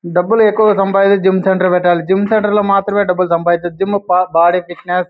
డబ్బులు ఎక్కువగ సంపాది జిమ్ సెంటర్ పెట్టాలి. జిమ్ సెంటర్ లో మాత్రమే డబ్బులు సంపాదించి జిమ్ బ-బాడీ ఫిట్నెస్ --